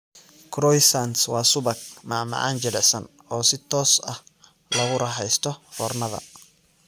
Croissants waa subag, macmacaan jilicsan oo si toos ah loogu raaxaysto foornada.